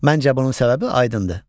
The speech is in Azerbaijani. Məncə bunun səbəbi aydındır.